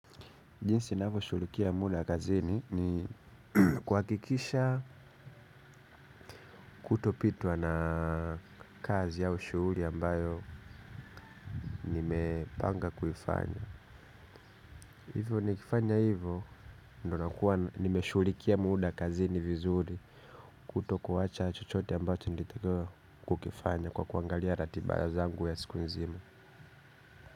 Jinsi navoshulikia muda kazini ni kuakikisha kutopitwa na kazi ao shuuli ambayo nimepanga kuifanya. Hivyo nikifanya hivyo ndo nakuwa nimeshulikia muda kazini vizuri kutokuwacha chochote ambayo tinditekewa kukifanya kwa kuangalia ratiba zangu ya siku nzima.